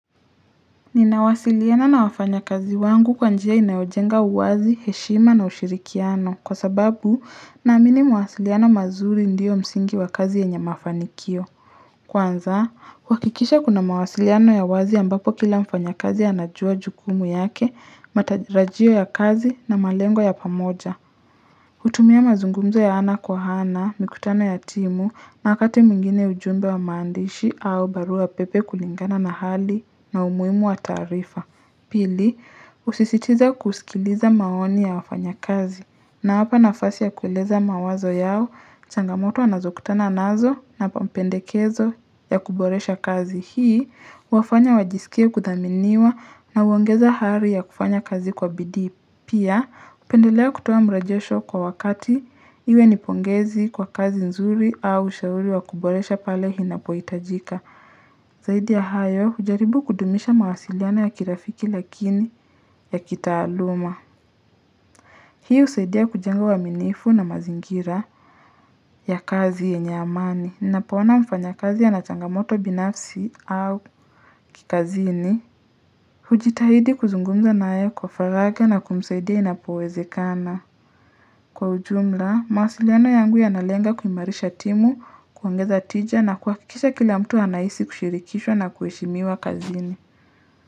Ninawasiliana na wafanya kazi wangu kwa njia inayojenga uwazi, heshima na ushirikiano kwa sababu na amini mawasiliano mazuri ndiyo msingi wa kazi yenye mafanikio Kwanza, kuhakikisha kuna mawasiliano ya wazi ambapo kila mfanya kazi anajua jukumu yake, matarajio ya kazi na malengo ya pamoja kutumia mazungumzo ya ana kwa ana, mikutano ya timu, na wakati mwingine ujumbe wa maandishi au barua pepe kulingana na hali na umuhimu wa tarifa. Pili, usisitize kusikiliza maoni ya wafanya kazi nawapa nafasi ya kueleza mawazo yao, changamoto anazokutana nazo na mapendekezo ya kuboresha kazi. Hii, wafanya wajisikie kudhaminiwa na uongeza hali ya kufanya kazi kwa bidii. Pia, upendelea kutoa mrejesho kwa wakati iwe nipongezi kwa kazi nzuri au ushauri wa kuboresha pale inapoitajika. Zaidi ya hayo, jaribu kudumisha mawasiliano ya kirafiki lakini ya kitaaluma. Hii usaidia kujenga uaminifu na mazingira ya kazi yenye amani. Ninapoona mfanyakazi ana changamoto binafsi au kikazini. Hujitahidi kuzungumza nae kwa faraja na kumsaidia inapowezekana. Kwa ujumla, mawasiliano yangu yanalenga kuimarisha timu, kuongeza tija na kuhakikisha kila mtu anahisi kushirikishwa na kuheshimiwa kazini.